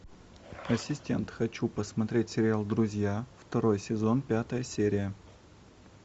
ассистент хочу посмотреть сериал друзья второй сезон пятая серия